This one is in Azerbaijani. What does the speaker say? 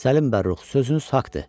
Səlim Bərrux, sözünüz haqqdır.